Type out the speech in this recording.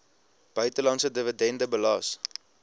buitelandse dividende belas